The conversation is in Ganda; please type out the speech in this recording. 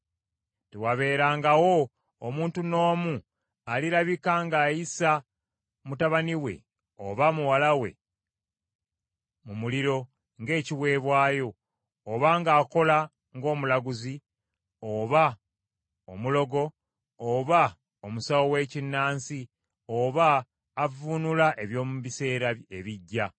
Tewabeerangawo omuntu n’omu alirabika ng’ayisa mutabani we, oba muwala we mu muliro, ng’ekiweebwayo, oba ng’akola ng’omulaguzi, oba omulogo, oba omusawo w’ekinnansi, oba avvuunula eby’omu biseera ebijja,